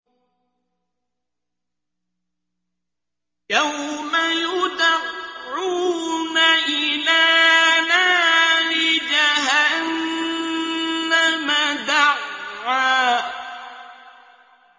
يَوْمَ يُدَعُّونَ إِلَىٰ نَارِ جَهَنَّمَ دَعًّا